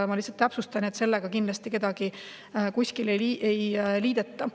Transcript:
Ma lihtsalt täpsustan, et sellega kedagi kindlasti ei liideta.